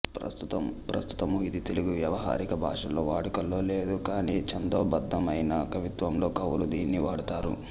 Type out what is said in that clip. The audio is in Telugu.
ప్రస్తుతము ఇది తెలుగు వ్యావహారిక భాషలో వాడుకలో లేదు కానీ ఛందోబద్ధమైన కవిత్వంలో కవులు దీనిని వాడుతారు